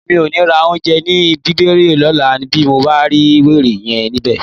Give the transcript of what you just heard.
Èmi ò ní ra oúnjẹ ní Bíbiré lọ́la bí mo bá rí wèrè yẹn níbẹ̀